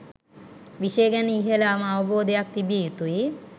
විෂය ගැන ඉහළම අවබෝධයක් තිබිය යුතුයි.